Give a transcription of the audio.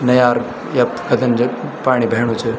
नयार यख गधन जन पाणी बेहणु च।